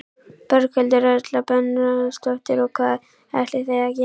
Berghildur Erla Bernharðsdóttir: Og hvað ætlið þið að gera?